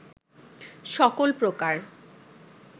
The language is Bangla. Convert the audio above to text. সকল প্রকার